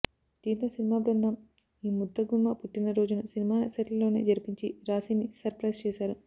దీంతో సినిమా బృందం ఈ ముద్ద గుమ్మ పుట్టినరోజును సినిమా సెట్లోనే జరిపించి రాశీని సర్ ప్రైజ్ చేశారు